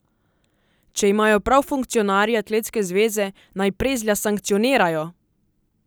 Če imajo prav funkcionarji atletske zveze, naj Prezlja sankcionirajo!